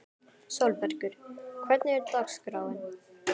Sólbergur, hvernig er dagskráin?